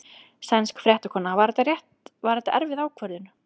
Sænsk fréttakona: Var þetta erfið ákvörðun?